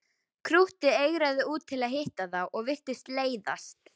Krúttið eigraði út til að hitta þá og virtist leiðast.